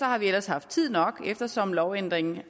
har vi ellers haft tid nok eftersom lovændringen